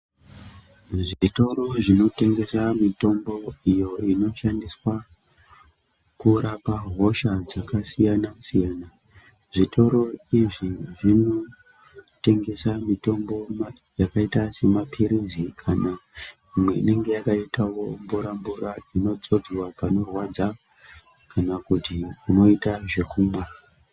Zvitoro zvinotengesa mutombo iyo inoshandiswa kurapa hosha dzasiyana siyana zvitoro izvi zvinotengsa mitombo maningi inenge yakaita semapiritsi kana imwe yakaitawo mvura mvura inodzodzwa pakorwadza kana kuti moita zvokumwa.